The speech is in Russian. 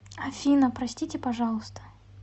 афина простите пожалуйста